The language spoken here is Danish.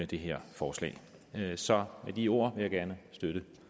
det her forslag så med de ord vil jeg gerne støtte